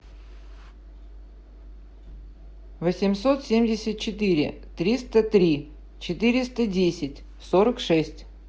восемьсот семьдесят четыре триста три четыреста десять сорок шесть